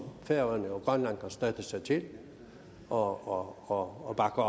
færøerne og grønland kan støtte sig til og og bakke